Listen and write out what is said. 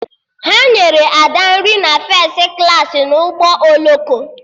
Ha nyere Ada nri na fes klaasị na ụgbọ oloko